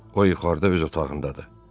O yuxarıda öz otağındadır.